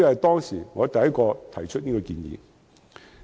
當時我是首個提出這項建議的人。